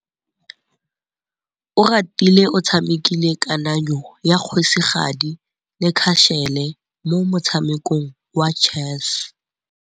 Oratile o tshamekile kananyô ya kgosigadi le khasêlê mo motshamekong wa chess.